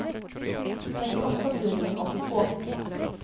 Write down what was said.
trettioåtta tusen åttiotvå